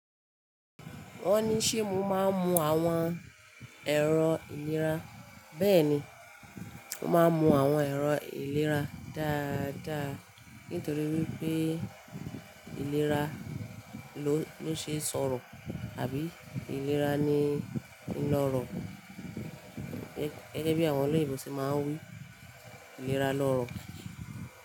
Wọ́n ní ṣe mo máa ń mu àwọn ẹ̀rọ ìlera. Bẹ́ẹ̀ni, mo máa ń mu àwọn ẹ̀rọ ìlera dáadáa nítorí wípé ìlera ló ṣe sọ̀rọ̀ àbí ìlera ni ń lọ̀rọ̀. Gẹ́gẹ́ bí àwọn olóyibo ṣe máa ń wí, ìlera lọ́rọ̀